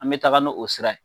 An bɛ taa n'o o sira ye